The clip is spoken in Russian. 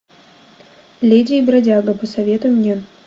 леди и бродяга посоветуй мне